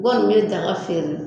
N kɔni bɛ daga feere